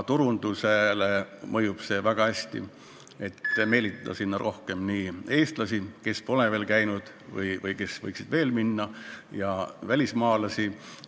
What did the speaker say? See mõjub väga hästi ka turundusele ja aitab meelitada sinna rohkem eestlasi, kes pole seal veel käinud või võiksid sinna minna, samuti välismaalasi.